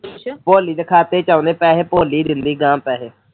ਭੋਲੀ ਦੇ ਖਾਤੇ ਚ ਆਉਂਦੇ ਪੈਸੇ ਭੋਲੀ ਦਿੰਦੀ ਐ ਗਾਹਾ ਪੈਸੇ